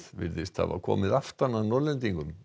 virðist hafa komið aftan að Norðlendingum